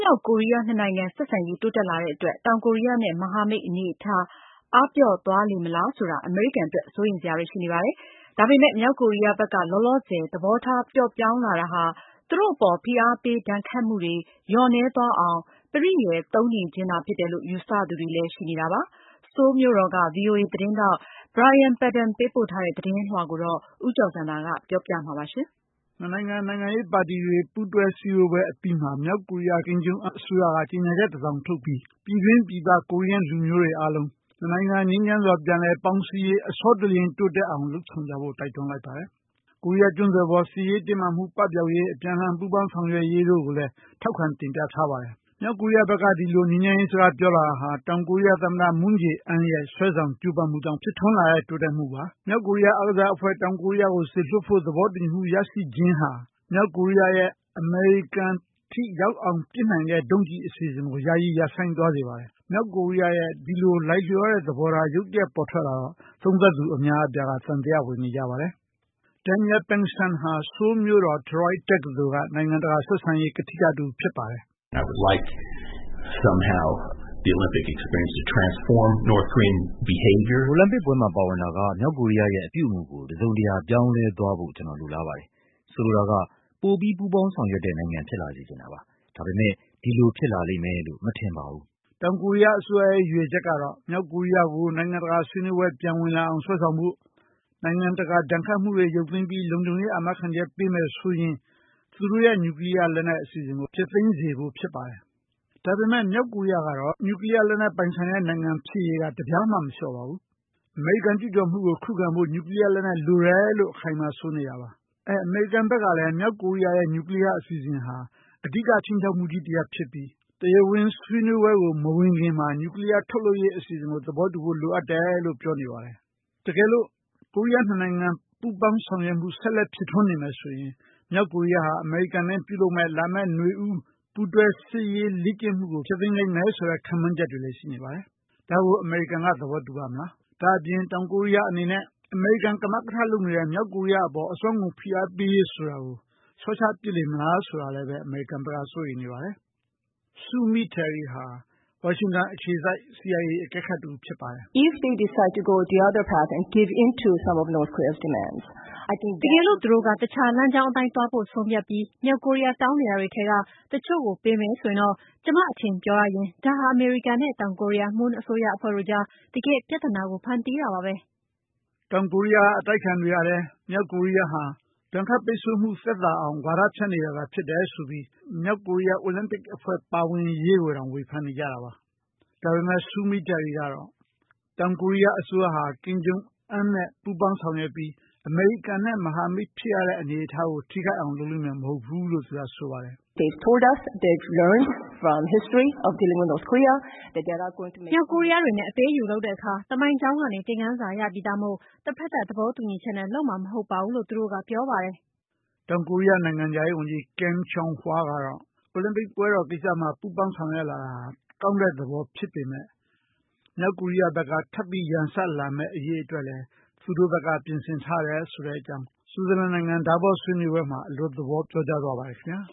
မြောက်ကိုရီးယား ၂ နိုင်ငံ ဆက်ဆံရေးတိုးတက်လာတဲ့အတွက် တောင်ကိုရီးယား နဲ့ မဟာမိတ်အနေအထား အားပျော့သွားလေမလား ဆိုတာ အမေရိကန်အတွက် စိုးရိမ်စရာတွေရှိနေပါတယ်။ ဒါပေမဲ့ မြောက်ကိုရီးယားဘက်က လောလောဆယ် သဘောထားပျော့ပျောင်းလာတာဟာ သူတို့အပေါ် ဖိအားပေးဒဏ်ခတ်မှုတွေ လျော့နည်းသွားအောင် ပရိယာယ်သုံးနေခြင်းသာဖြစ်တယ်လို့ ယူဆသူတွေလဲရှိနေပါတယ်။ Seoul မြို့တော်က VOA သတင်းထောက် Brian Padden ပေးပို့တဲ့ သတင်းလွှာကို ဦးကျော်ဇံသာက တင်ပြထားပါတယ်။ နှစ်နိုင်ငံ နိုင်ငံရေးပါတီတွေ ပူူးတွဲစည်းဝေးပွဲအပြီးမှာ မြောက်ကိုရီးယား Kim Jong Un အစိုးရက ကြေညာချက်တစောင်ထုတ်ပြီး ပြည်တွင်းပြည်ပ ကိုရီးယားလူမျိုးတွေ အားလုံး နှစ်နိုင်ငံ ငြိမ်းချမ်းစွာ ပြန်လည်ပေါင်းစည်းရေး အဆောတလျင် လုပ်ဆောင်ကြဖို့ တိုက်တွန်းလိုက်ပါတယ်။ ကိုရီးယားကျွန်းဆွယ်ပေါ် စစ်ရေးတင်းမာမှု ပပျောက်ရေး အပြန်အလှန် ပူးပေါင်းဆောင်ရွက်ရေးတို့ကိုလည်း ထောက်ခံတင်ပြထားပါတယ်။ မြောက်ကိုရီးယားဘက်က ဒီလိုငြိမ်းချမ်းရေး စကားပြောလာတာဟာ တောင်ကိုရီးယား သမ္မတ Moon Jae-in ရဲ့ဆွဲဆောင်ကြိုးပမ်းမှုကြောင့် ဖြစ်ထွန်းလာရတဲ့တိုးတက်မှုပါ။ မြောက်ကိုရီးယား အားကစားအဖွဲ့ တောင်ကိုရီးယားကို စေလွှတ်ဖို့ သဘောတူညီမှု ရရှိခြင်းဟာ မြောက်ကိုရီးယားရဲ့ အမေရိကန်အထိ ရောက်အောင် ပစ်နိုင်တဲ့ ဒုံးကျည်အစီအစဉ်ကို ယာယီရပ်ဆိုင်း သွားစေပါတယ်။ မြောက်ကိုရီးယားရဲ့ ဒီလိုလိုက်လျောတဲ့ သဘော ရုတ်တရက်ပေါ်ထွက်လာတော့ သုံးသပ်သူ အများအပြားက သံသယဝင်နေကြပါတယ်။ Daniel Pinkston ဟာ ဆိုးလ်မြို့တော် Troy တက္ကသိုလ်က နိုင်ငံတကာဆက်ဆံရေး ကထိကတဦးဖြစ်ပါတယ်။ “ အိုလံပစ်ပွဲမှာ ပါဝင်တာက မြောက်ကိုရီးယားရဲ့ အပြုအမူကို တစုံတရာ ပြောင်းလဲသွားဖို့ ကျနော် လိုလားပါတယ်။၊ ဆိုလိုတာက ပိုပြီး ပူးပေါင်းဆောင်ရွက်တဲ့ နိုင်ငံ ဖြစ်လာစေချင်တာပါ။ ဒါပေမယ့် ဒီလို ဖြစ်လာလိမ့်မယ်လို့ မထင်ပါဘူး။” တောင်ကိုရီးယားအစိုးရရဲ့ ရည်ရွယ်ချက်ကတော့ မြောက်ကိုရီးယားကို နိုင်ငံတကာဆွေးနွေးပွဲ ပြန်ဝင်လာအောင် ဆွဲဆောင်ဖို့ နိုင်ငံတကာ ဒဏ်ခတ်မှုတွေ ရုပ်သိမ်းပြီး လုံခြုံရေး အာမခံချက် ပေးမယ်ဆိုရင် သူတို့ရဲ့ နျူကလီးယားလက်နက် အစီအစဉ်ကို ဖျက်သိမ်းစေဖို့ ဖြစ်ပါတယ်။ ဒါပေမဲ့ မြောက်ကိုရီးယားနိုင်ငံကတော့ နျူကလီးယားပိုင်ဆိုင်တဲ့ နိုင်ငံဖြစ်ရေးက တပြားမှ မလျော့ပါဘူး။ အမေရိကန်ကျူးကျော်မှုကို ခုခံဖို့ နျှူကလီးယားလက်နက် လိုတယ်လို့ အခိုင်အမာ ဆိုနေတာပါ။ အဲ့ အမေရိကန်ဘက်ကလည်း မြောက်ကိုရီးယားရဲ့ နျှူကလီးယား အစီအစဉ်ဟာ အဓိက ခြိမ်းခြောက်မှုကြီး တရပ်ဖြစ်ပြီး တရားဝင်ဆွေးနွေးပွဲကို မဝင်ခင်မှာ နျူကလီးယားထုတ်လုပ်ရေးအစီအစဉ်ကို သဘောတူဖို့ လိုအပ်တယ်လို့ပြောနေပါတယ်။ တကယ်လို့ ကိုရီးယားနှစ်နိုင်ငံပူးပေါင်းဆောင်ရွက်မှု ဆက်လက် ဖြစ်ထွန်းနေမယ်ဆိုရင် တောင်ကိုရီးယားဟာ အမေရိကန်နဲ့ပြုလုပ်မယ့် လာမယ့် နွေဦး ပူးတွဲစစ်ရေးလေ့ကျင့်မှုကို ဖျက်သိမ်းလိမ့်မယ်ဆိုတဲ့ ခန့်မှန်းချက်တွေလည်း ရှိနေပါတယ် ဒါကို အမေရိကန်က သဘောတူပါ့မလား။ ဒါ့အပြင် တောင်ကိုရီးယားအနေနဲ့ အမေရိကန် ကမကထလုပ်နေတဲ့ မြောက်ကိုရီးယားအပေါ် အစွမ်းကုန်ဖိအားပေးရေးဆိုတာကို လျှော့ချပစ်လေမလား ဆိုတာကိုလည်း အမေရိကန်ဘက်က စိုးရိမ်နေပါတယ်။ Sue Mi Terry ဟာ ဝါရှင်တန် အခြေစိုက် CIA အကဲခတ်တဦး ဖြစ်ပါတယ်။ "တကယ်လို့ သူတို့က တခြားလမ်းကြောင်းအတိုင်း သွားဖို့ ဆုံးဖြတ်ပြီး မြောက်ကိုရီးယား တောင်းနေတာတွေ ထဲက တချို့ကို ပေးမယ်ဆိုရင် တော့၊ ကျမ အထင်ပြောရရင် ဒါဟာ အမေရိကန်နဲ့ တောင်ကိုရီးယား Moon အစိုးရအဖွဲ့တို့ကြား တကယ့်ပြဿနာ ကို ဖန်တီးတာပါပဲ။ " တောင်ကိုရီးယားအတိုက်အခံတွေကလည်း မြောက်ကိုရီးယားဟာ ဒဏ်ခတ်ပိတ်ဆို့မှု သက်သာအောင် ဝါဒဖြန့်နေတာသာဖြစ်တယ်ဆိုပြီး မြောက်ကိုရီးယားအိုလံပစ်အဖွဲ့ ပါဝင်ရေးကိုတောင် ဝေဖန်နေကြတာပါ။ ဒါပေမဲ့ Sue Mi Terryကတော့ တောင်ကိုရီးယားအစိုးရဟာ Kim Jong Un နဲ့ ပူးပေါင်းဆောင်ရွက်ပြီး အမေရိကန်နဲ့ မဟာမိတ်ဖြစ်တဲ့ အနေအထားကို ထိခိုက်အောင် လုပ်လိမ့်မယ် မဟုတ်ဘူးလို့ သူကဆိုပါတယ်။ “မြောက်ကိုရီးယားတွေနဲ့ အပေးအယူလုပ်တဲ့အခါ သမိုင်းကြောင်းကနေ သင်ခန်းစာ ရပြီးသားမို့ တဖက်သတ် သဘောတူညီချက်နဲ့ လုပ်မှာ မဟုတ်ပါဘူးလို့ သူတို့က ပြောပါတယ်။" တောင်ကိုရီးယားနိုင်ငံခြားဝန်ကြီး Kang Kyung-wha ကတော့ အိုလံပစ်ပွဲတော်ကိစ္စမှာ ပူးပေါင်းဆောင်ရွက်လာတာဟာ ကောင်းတဲ့ သဘောဖြစ်ပေမဲ့ မြောက်ကိုရီးယားဘက်က ထပ်ပြီး ရန်စလာမယ့်အရေးအတွက်လည်း သူတို့ဘက်က ပြင်ဆင်ထားတယ် ဆိုတဲ့အကြောင်း Switzerland နိုင်ငံDavos မြို့မှာ အလွတ် သဘောပြောကြားသွားပါတယ်ခင်ဗျာ